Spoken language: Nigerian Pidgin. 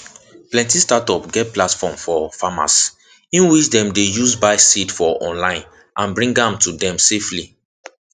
plenty startup get platform for farmers in which dem dey use buy seed for online and bring am to dem safely